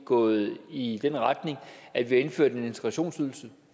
gået i den retning at vi har indført en integrationsydelse